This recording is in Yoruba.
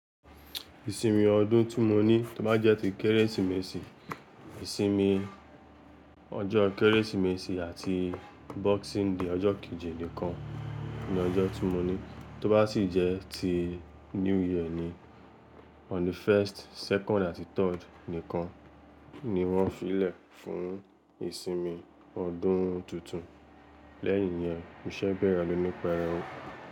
Ìsinmi ọdún timọ ní tó bá jẹ́ ti Kérésìmesì, ìsinmi ọjọ́ Kérésìmesì àti Boxing Day, ọjọ́ kejì nìkan ni ọjọ́ timọ ní, tó bá sì jẹ́ ti New Year ni on the first, second àti third nìkan ni wọ́n fi lè fún ìsinmi ọdún tuntun, lẹ́yìn yẹn iṣẹ́ bẹ̀rẹ̀ lónìí, perẹ́wu.